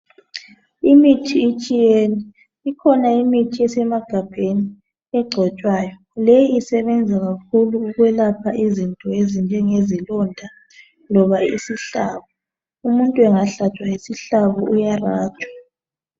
Imithi itshiyene. Ikhona imithi esemagabheni, egcotshwayo. Leyo isebenza kakhulu ukwelapha izinto ezinjengezilonda loba isihlabo. Umuntu engahlatshwa yisihlabo, uyarabha.